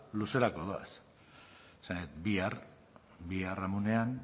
luzerako doaz esan nahi dut bihar biharamunean